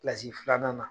Kilasi filanan na